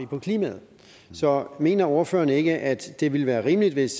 på klimaet så mener ordføreren ikke at det ville være rimeligt hvis